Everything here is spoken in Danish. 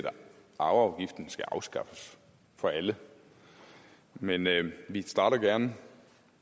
arveafgiften skal afskaffes for alle men men vi starter gerne